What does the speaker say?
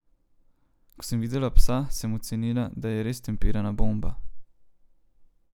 Ko sem videla psa, sem ocenila, da je res tempirana bomba.